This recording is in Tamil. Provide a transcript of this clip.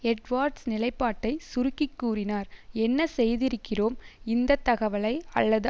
எட்வார்ட்ஸ் நிலைப்பாட்டை சுருக்கி கூறினார் என்ன செய்திருக்கிறோம் இந்த தகவலை அல்லது